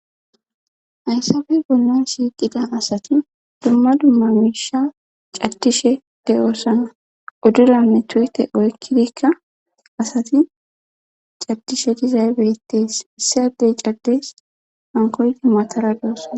Ayssafe bollon shiiqida asati dumma dumma miisha caddishe de'osana udduranne tuyte oykkidikka asati caddishe dizay beettes siyaddey caddes hankoyti matara de'osaa.